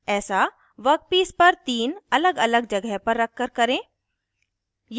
ऐसा वर्कपीस पर तीन अलगअलग जगह पर रखकर करें